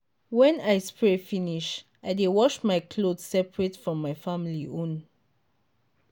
when i spray finish i dey wash my cloth separate from my family own.